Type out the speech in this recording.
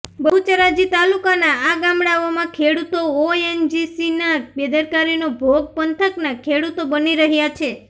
બહુચરાજી તાલુકાના આ ગામડાઓમાં ખેડૂતો ઓએનજીસીના બેદરકારીનો ભોગ પંથકના ખેડૂતો બની રહ્યા છે